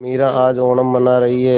मीरा आज ओणम मना रही है